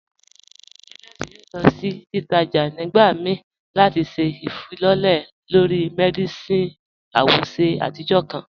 Janet yóò lọ sí títàjà̀ nígbà míí láti ṣẹ̀ ifilọlẹ̀ lọ̀rí Mercedes àwòṣè àtijọ̀ kan.